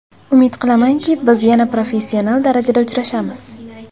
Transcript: Umid qilamanki, biz yana professional darajada uchrashamiz.